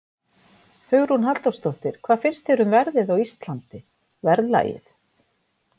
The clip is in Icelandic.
Hugrún Halldórsdóttir: Hvað finnst þér um verðið á Íslandi, verðlagið?